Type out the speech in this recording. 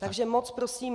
Takže moc prosím.